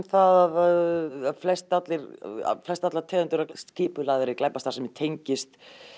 að flest allar flest allar tegundir af skipulagðri glæpastarfsemi tengist